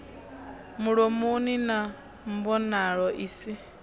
mulomoni na mbonalo i si